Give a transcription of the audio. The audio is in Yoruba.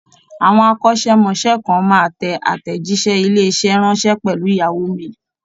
Àwọn akọ́ṣẹ́mọṣẹ́ kan máa tẹ àtẹ̀jíṣẹ́ ilé-iṣẹ́ ránṣẹ́ pẹ̀lú yahoo mail.